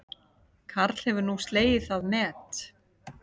Karl hefur nú slegið það met